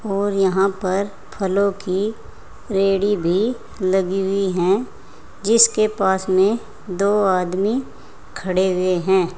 और यहां पर फलों की रेहड़ी भी लगी हुई हैं जिसके पास में दो आदमी खड़े हुए हैं।